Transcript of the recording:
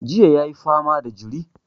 Jiya ya yi fama da jiri.